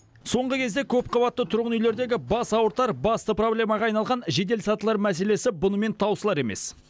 соңғы кезде көпқабатты тұрғын үйлердегі бас ауыртар басты проблемаға айналаған жеделсатылар мәселесі бұнымен таусылар емес